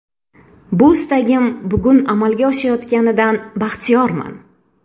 Bu istagim bugun amalga oshayotganidan baxtiyorman.